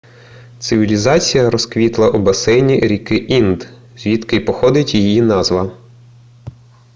цивілізація розквітла у басейні ріки інд звідки й походить її назва